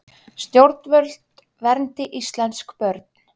Stjórnvöld verndi íslensk börn